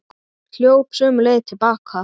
Hljóp sömu leið til baka.